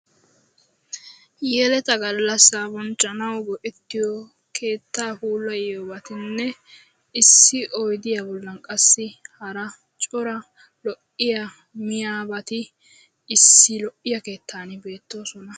Yeeletaa gallassa bonchchanawu go'ettiyo keetta puulayiyobatine, issi oyddiyaa bollan qassi hara cora lo'iya miyobati issi lo'iya keettan beettosona.